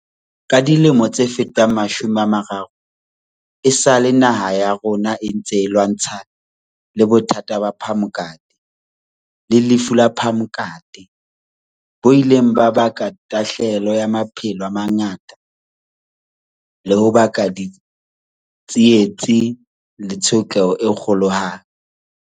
Ka dilemo tse fetang mashome a mararo, esale naha ya rona e ntse e lwantshana le bothata ba phamokate, HIV, le lefu la phamokate, AIDS, bo ileng ba baka tahlahelo ya maphelo a mangata le ho baka ditsietsi le tshotleho e kgolohadi.